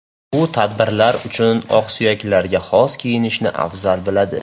U tadbirlar uchun oqsuyaklarga xos kiyinishni afzal biladi.